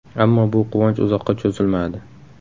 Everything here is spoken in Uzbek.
Ammo bu quvonch uzoqqa cho‘zilmadi.